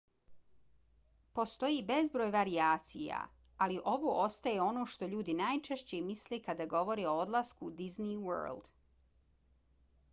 postoji bezbroj varijacija ali ovo ostaje ono što ljudi najčešće misle kada govore o odlasku u disney world